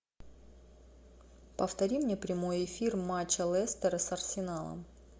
повтори мне прямой эфир матча лестера с арсеналом